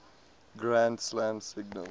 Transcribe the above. grand slam singles